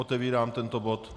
Otevírám tento bod